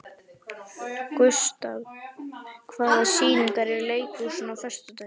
Gustav, hvaða sýningar eru í leikhúsinu á föstudaginn?